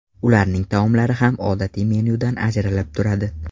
Ularning taomlari ham odatiy menyudan ajralib turadi.